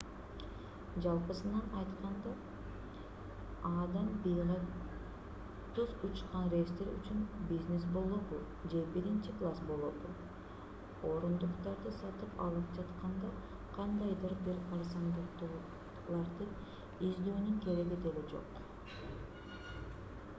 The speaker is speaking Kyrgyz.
жалпысынан айтканда а-дан б-га түз учкан рейстер үчүн бизнес болобу же биринчи класс болобу орундуктарды сатып алып жатканда кандайдыр бир арзандатууларды издөөнүн кереги деле жок